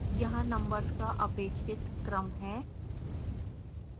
यहाँ नंबर्स का अपेक्षित क्रम है